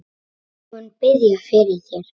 Ég mun biðja fyrir þér.